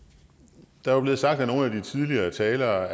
der er jo blevet sagt af nogle af de tidligere talere